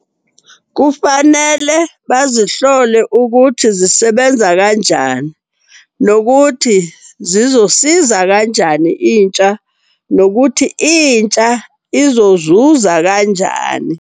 Kufanele bazihlole ukuthi zisebenza kanjani, nokuthi zizosiza kanjani intsha. Nokuthi intsha izozuza kanjani.